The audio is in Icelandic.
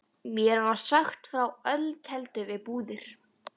Mér var sagt frá ölkeldu við Búðir.